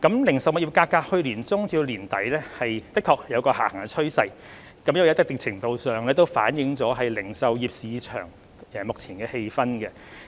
零售物業價格在去年年中至年底的確有下行趨勢，一定程度上反映零售業市場目前的氣氛。